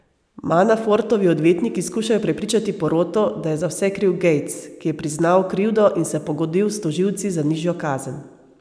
Manafortovi odvetniki skušajo prepričati poroto, da je za vse kriv Gates, ki je priznal krivdo in se pogodil s tožilci za nižjo kazen.